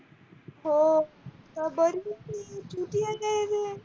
हो.